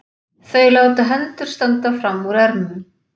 Þau láta hendur standa fram úr ermum.